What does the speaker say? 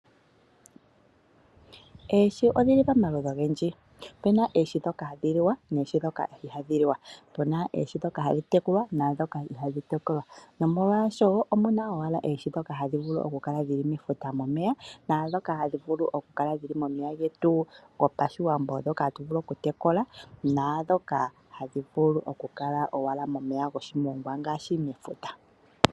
Oohi odhi li pamaludhi ogendji. Opu na oohi ndhoka hadhi liwa noohi ndhoka ihaadhi liwa. Pu na oohi ndhoka hadhi tekulwa noohi ndhoka ihadhi tekulwa. Nomolwashoka omu na owala oohi ndhoka hadhi vulu okukala mefuta momeya naandhoka hadhi vulu okukala momeya getu gopashiwambo ndhoka hadhi vulu okutekula naandhoka hadhi vulu okukala owala momeya goshimongwa ngaashi mefuta.